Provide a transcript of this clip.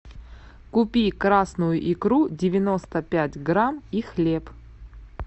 купи красную икру девяносто пять грамм и хлеб